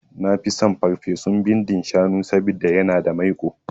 Nafi son ferfesun bindin shanu saboda yana da maiƙo